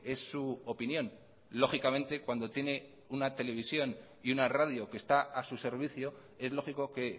es su opinión lógicamente cuando tiene una televisión y una radio que está a su servicio es lógico que